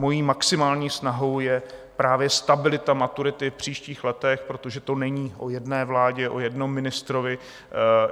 Mojí maximální snahou je právě stabilita maturity v příštích letech, protože to není o jedné vládě, o jednom ministrovi.